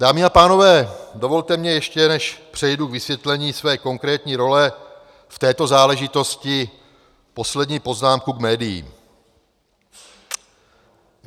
Dámy a pánové, dovolte mi ještě, než přejdu k vysvětlení své konkrétní role v této záležitosti, poslední poznámku k médiím.